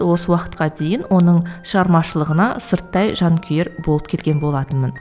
осы уақытқа дейін оның шығармашылығына сырттай жанкүйер болып келген болатынмын